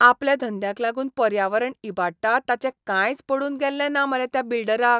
आपल्या धंद्याक लागून पर्यावरण इबाडटा ताचें कांयच पडून गेल्लें ना मरे त्या बिल्डराक.